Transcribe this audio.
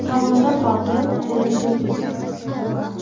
Havoda qoldi Qo‘lim gul uzib.